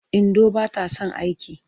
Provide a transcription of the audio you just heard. Indo ba ta son aiki.